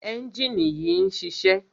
ẹ́njìnì yìí ń ṣiṣẹ́.